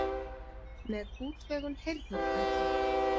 Með útvegun heyrnartækja.